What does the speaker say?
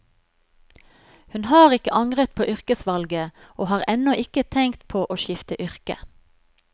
Hun har ikke angret på yrkesvalget, og har ennå ikke tenkt på å skifte yrke.